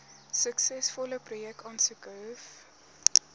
suksesvolle projekaansoeke hoef